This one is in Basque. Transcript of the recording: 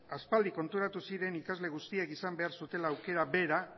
aspaldi konturatu ziren ikasle guztiek izan behar zutela aukera bera